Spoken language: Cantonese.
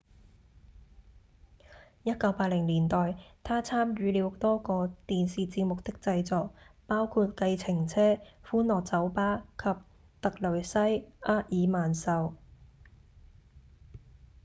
1980年代他參與了多個電視節目的製作包括《計程車》、《歡樂酒吧》及《特蕾西·厄爾曼秀》